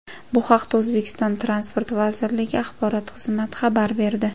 Bu haqda O‘zbekiston Transport vazirligi axborot xizmati xabar berdi .